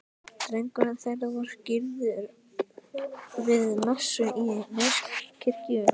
Drengurinn þeirra er skírður við messu í Neskirkju.